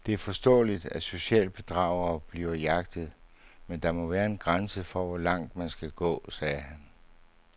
Det er forståeligt, at socialbedragere bliver jagtet, men der må være en grænse for, hvor langt man skal gå, sagde han.